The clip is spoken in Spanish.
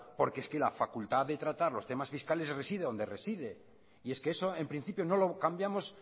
porque es que la facultad de tratar los temas fiscales reside donde reside y es que eso en principio no lo cambiamos